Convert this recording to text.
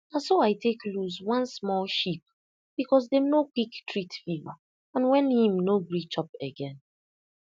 na so i take lose one small sheep because dem no quick treat fever and when im no gree chop again